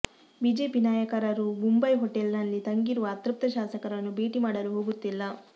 BJP ನಾಯಕರಾರೂ Mumbai hotel ನಲ್ಲಿ ತಂಗಿರುವ ಅತೃಪ್ತ ಶಾಸಕರನ್ನು ಭೇಟಿ ಮಾಡಲು ಹೋಗುತ್ತಿಲ್ಲ